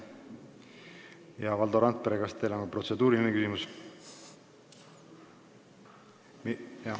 Hea Valdo Randpere, kas teil on protseduuriline küsimus?